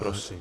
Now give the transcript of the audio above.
Prosím.